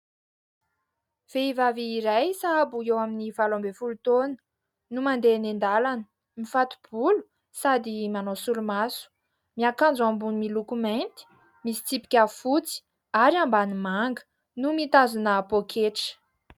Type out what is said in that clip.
Vehivavy iray sahabo eo amin'ny vao ambin'ny folo taona no mandeha eny andalana, mifato-bolo sady manao solomaso. Miakanjo ambony miloko mainty misy tsipika fotsy ary ambany manga no mitazona poketra.